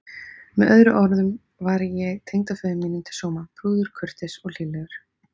Með öðrum orðum var ég tengdaföður mínum til sóma: prúður, kurteis og hlýlegur.